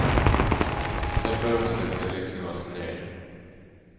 Den förundersökningen läggs nu alltså ned.